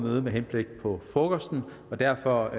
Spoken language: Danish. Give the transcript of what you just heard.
mødet med henblik på frokosten derfor